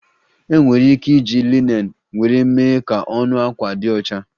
Enwere ike iji linen nwere mee ka ọnụ akwa di ọcha